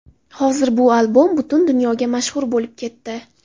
Hozir bu albom butun dunyoga mashhur bo‘lib ketdi.